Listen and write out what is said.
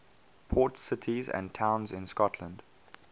port cities and towns in scotland